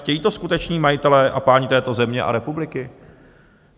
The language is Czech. Chtějí to skuteční majitelé a páni této země a republiky?